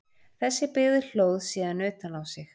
Þessi byggð hlóð síðan utan á sig.